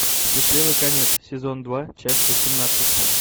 счастливый конец сезон два часть восемнадцать